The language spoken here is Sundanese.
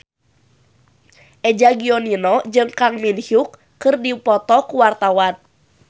Eza Gionino jeung Kang Min Hyuk keur dipoto ku wartawan